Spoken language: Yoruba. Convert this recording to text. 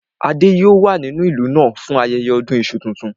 Adé yòó wà nínú ìlú náà fún ayẹyẹ ọdún iṣu tuntun